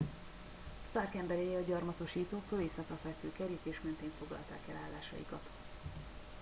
stark emberei a gyarmatosítóktól északra fekvő kerítés mentén foglalták el állásaikat